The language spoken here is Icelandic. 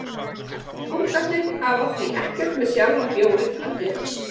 Punktarnir hafa því ekkert með sjálfan bjórinn að gera.